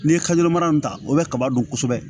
N'i ye kaze mana ta o bɛ kaba dun kosɛbɛ